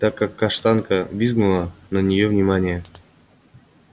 так как каштанка визгнула на нее внимания